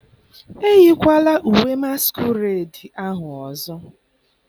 eyikwala uwe masquerade ahụ ọzọ!